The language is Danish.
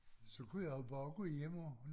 Så kunne jeg jo bare gå hjem og